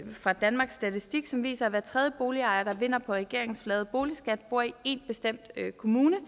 fra danmarks statistik som viser at hver tredje boligejer der vinder på regeringens flade boligskat bor i én bestemt kommune